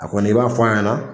A koni ,i b'a fɔ a ɲana